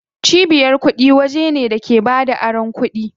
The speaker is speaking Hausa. Cibiyar kuɗi waje ne da ke bada aron kuɗi.